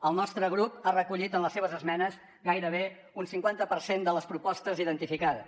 el nostre grup ha recollit en les seves esmenes gairebé un cinquanta per cent de les propostes identificades